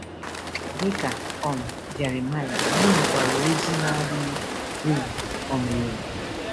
Dị ka um Jeremaịa, anyị nwekwara ozi na-adịghị ewu um ewu.